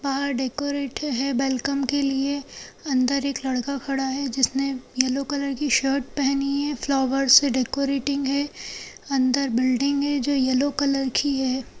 बाहर डेकोरेट है वेलकम के लिए अंदर एक लड़का खड़ा है जिसने येल्लो कलर की शर्ट पहनी है फ्लावर्स से डेकोरेटिंग है अंदर बिल्डिंग है जो येलो कलर की है।